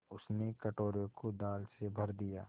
उसने कटोरे को दाल से भर दिया